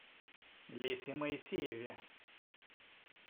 лесе моисееве